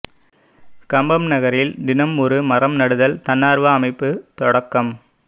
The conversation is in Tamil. கம்பம் நகரில் தினம் ஒரு மரம் நடுதல் தன்னாா்வ அமைப்பு தொடக்கம்